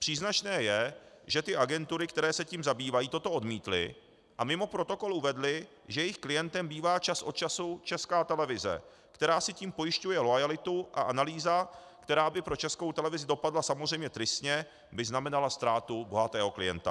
Příznačné je, že ty agentury, které se tím zabývají, toto odmítly a mimo protokol uvedly, že jejich klientem bývá čas od času Česká televize, která si tím pojišťuje loajalitu, a analýza, která by pro Českou televizi dopadla samozřejmě tristně, by znamenala ztrátu bohatého klienta.